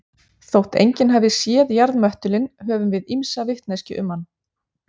Þótt enginn hafi séð jarðmöttulinn höfum við ýmsa vitneskju um hann.